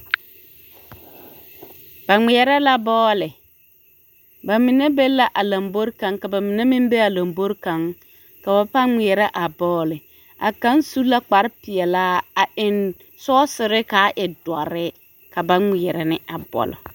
Ba ŋmeɛrɛ la bɔɔle, bamine be la a lombori kaŋ ka bamine meŋ be a lombori kaŋ ka ba pãã ŋmeɛrɛ a bɔɔle a kaŋ su la kpare peɛlaa a eŋ sɔɔsere k'a e dɔre ka ba ŋmeɛrɛ ne a bɔlo.